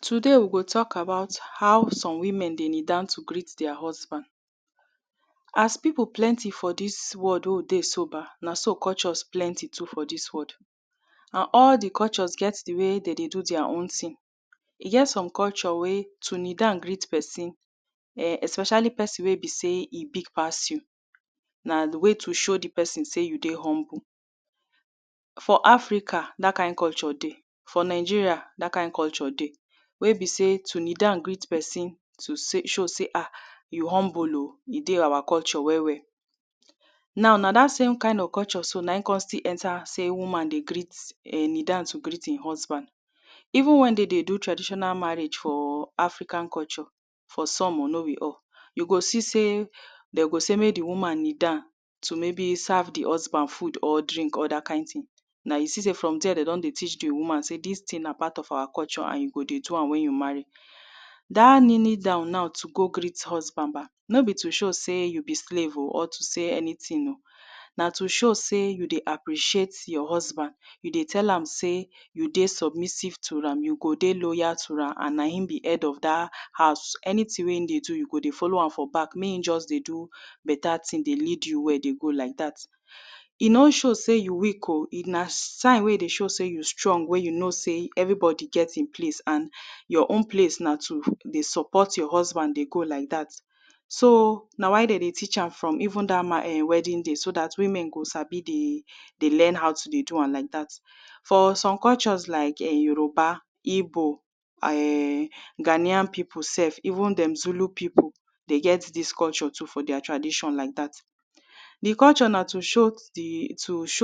Today we go talk about how some women dey kneel down to greet their husband. As pipu plenty for dis world wey we dey so um na so cultures plenty too for dis world. And all di cultures get di way de dey do their own thing. E get some culture wey to kneel down greet pesin um especially pesin wey be say e big pass you, na di way to show di pesin sey you dey humble. For Africa, dat kind culture dey, for Nigeria, dat kind culture dey wey be sey to kneel down greet pesin to sey to show sey you humble e dey our culture well. Now na dat same kind of culture na in kon still enter sey women dey greet [um]dey kneel down dey greet di husband. even wen de dey do traditional marriage for African culture, for some o no be all, u go see sey de go sey mek di woman kneel down to maybe serve di husband food or drink or dat kind thing na u see say from there de go don dey teach di woman sey dis thing na our culture and you go dey do am wen you marry. Dat kneeling down now to go greet husband um no be to show dey you be slave or to say anything na to show sey you dey appreciate your husband, you dey tell am sey you dey submissive to am you go dey loyal to am and na him be head of dat house anything wey hin dey do you go dey follow am for back. Mey e just dey do beta thing e go dey lead you dey go like dat. E no show sey you weak oh, if na time wey de show sey you strong wen you know sey everybody get in place an your own place na to dey support your husband dey go like dat so na why de dey teach am for even dat wedding day so dat women go sabi to dey learn how to dey do am like dat. For some cultures like yoruba igbo, um ghanian pipu even dem zulu pipu dey get this culture too for their tradition like dat. Di culture na to show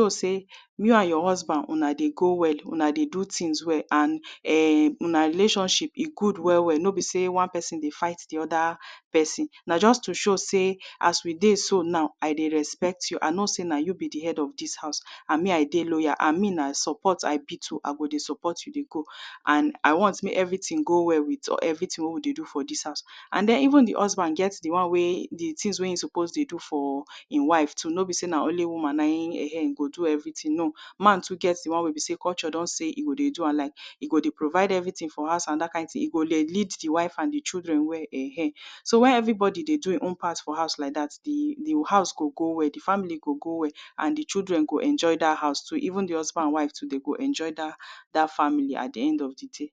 sey you and your husband una dey go well, una dey do things well and [um]una relationship e good well well no be sey one pesin dey fight di other pesin na just to show sey as we dey so now I dey respect you I know sey na you be di head of dis house and me I dey loyal and me na support I be too I go dey support you dey go and I want mek everything dey go well everything wey we dey do for this house. And den even di husband get di things wen e suppose dey do for hin wife too no be sey na only woman go do everything man too get di won wey be sey culture don sey e go dey do am like e go dey provide everything for house and dat kin tin e go lead di children well so wen everybody dey do he own part di house go go well, di family go go well and di children go enjoy dat house too even di husband and wife go enjoy dat family at di end of di day.